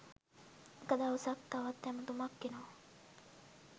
එක දවසක් තවත් ඇමතුමක් එනවා